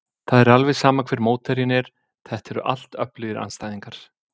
Það er alveg sama hver mótherjinn er, þetta eru allt öflugir andstæðingar.